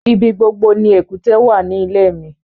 Ibí gbogbo ni èkútè wà ní ilẹ̀ mi